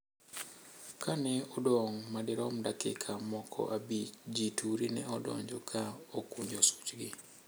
Ka ne odong` ma derom dakika moko abich, ji turi ne odonjo ka okunjo suchgi.